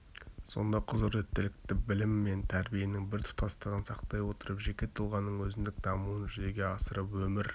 сонда құзыреттілікті білім мен тәрбиенің бір тұтастығын сақтай отырып жеке тұлғаның өзіндік дамуын жүзеге асырып өмір